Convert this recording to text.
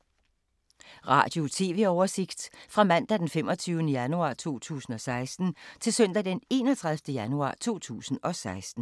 Radio/TV oversigt fra mandag d. 25. januar 2016 til søndag d. 31. januar 2016